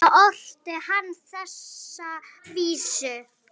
Þá orti hann þessa vísu